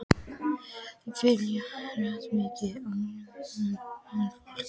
Fjallið er hátt og mikið og ókleift venjulegu ferðafólki.